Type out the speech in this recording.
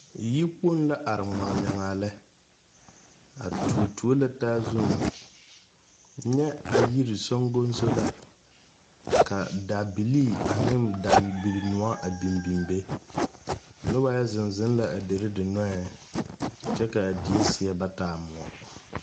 Yikpoŋ la are ŋmagnyagaa lɛ a tuo tuo la taa zuŋ nyɛ a yiri sogoŋso la ka dabilii ane dabilinoɔ a biŋ biŋ be noba yɛ zeŋ zeŋ la a deri dinɔɛŋ kyɛ k,a die seɛ ba taa moɔ.